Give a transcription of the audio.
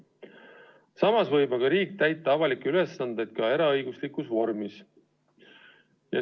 Samas võib aga riik täita avalikke ülesandeid ka eraõiguslikus vormis.